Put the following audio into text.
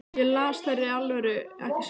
Ég las þær í alvöru, ekki satt?